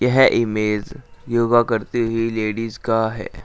यह इमेज योगा करते हुए लेडीज का है।